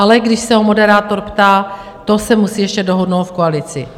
Ale když se ho moderátor ptá - to se musí ještě dohodnout v koalici.